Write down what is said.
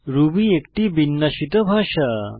Ruby একটি বিন্যাসিত ভাষা